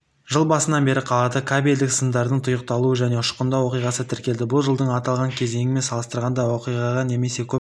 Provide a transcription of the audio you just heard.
жыл басынан бері қалада кабельдік сымдардың тұйықталу және ұшқындау оқиғасы тіркелді бұл жылдың аталған кезеңімен салыстырғанда оқиғаға немесе көп